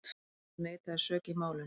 Einar neitaði sök í málinu.